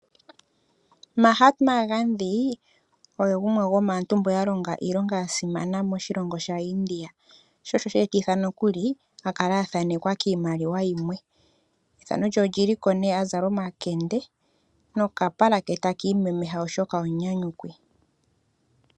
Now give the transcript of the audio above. Mahat Mangandi oye gumwe gwoo maantu yamwe mboka ya longa iilonga yasimana moshilongo sha India. Shoo sho sheetitha no kuli akale athanekwa kiimaliwa yimwe. Ethano lye olyiliko nee azala omakende, nokapala ke takiimemeha oshoka omunyanyukwi.